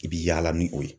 I bi yaala ni o ye